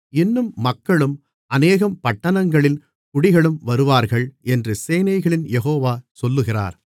இன்னும் மக்களும் அநேகம் பட்டணங்களின் குடிகளும் வருவார்கள் என்று சேனைகளின் யெகோவா சொல்லுகிறார்